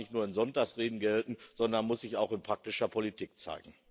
Das darf nicht nur in Sonntagsreden gelten, sondern muss sich auch in praktischer Politik zeigen.